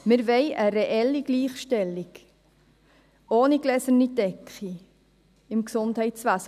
Wir wollen eine reelle Gleichstellung, ohne gläserne Decke im Gesundheitswesen.